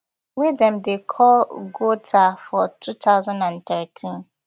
wey dem dey call ghouta for two thousand and thirteen